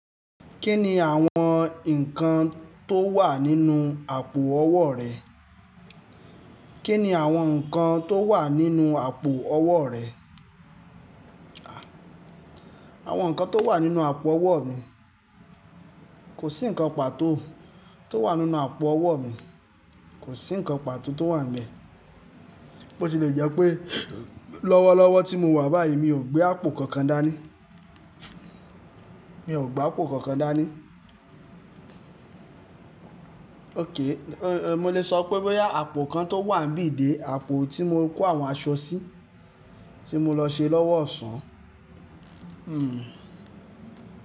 Kí ni àwọn nǹkan tó wà nínú àpò ọwọ́ rẹ? Kí ni àwọn nǹkan tó wà nínú àpò ọwọ́ rẹ? Àwọn nǹkan tó wà nínú àpò ọwọ́ mi, kò sí ǹkan pàtó tó wà nínú àpò ọwọ́ mi, kò sí ǹkan pàtó tó wà níbẹ̀. Bo ṣe le jẹ́ pé lọ́wọ́lọ́wọ́ tí mo wà báyìí, mi ò gbé àpò kankan dání. Mi ò gbé àpò kankan dání. Okay, mo lè sọ boya àpò kan tó wà níbí dé, àpò tí mo kó àwọn aṣọ sí tí mo lọ ṣe lọ́wọ́ ọ̀sán.